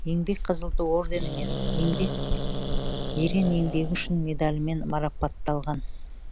еңбек қызыл ту орденімен ерен еңбегі үшін медалімен марапатталған